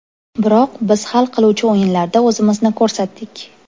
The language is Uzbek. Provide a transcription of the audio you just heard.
Biroq biz hal qiluvchi o‘yinlarda o‘zimizni ko‘rsatdik.